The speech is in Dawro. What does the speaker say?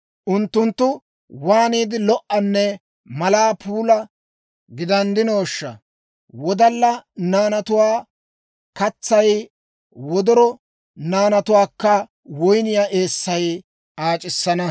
Unttunttu waaniide lo"anne malaa puula gidanddinooshsha! Wodalla naanatuwaa katsay, wodoro naanatuwaakka woyniyaa eessay aac'issana.